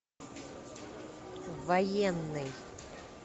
военный